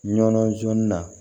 Ɲɔn jɔnni na